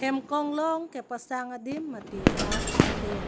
hem konglong kepasang adim mate bus stand .